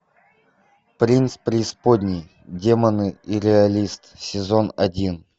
принц преисподней демоны и реалист сезон один